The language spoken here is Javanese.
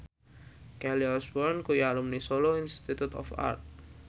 Kelly Osbourne kuwi alumni Solo Institute of Art